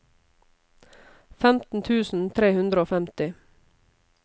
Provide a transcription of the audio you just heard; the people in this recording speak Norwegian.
femten tusen tre hundre og femti